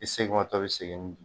I seginmatɔ bi segin n